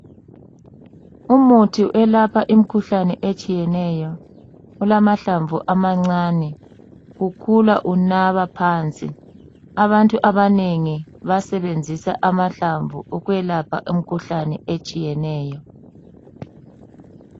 Umuthi olapha imkhuhlane etshiyeneyo olamahlamvu amancane kukhula unaba phansi abantu banengi basebenzisa amahlamvu ukwelapha imkhuhlane etshiyeneyo.